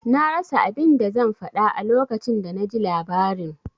Na rasa abin da zan faɗa a lokacin da naji labarin.